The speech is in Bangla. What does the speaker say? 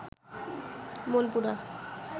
মনপুরা